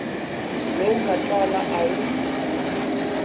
lowu nga twala a wu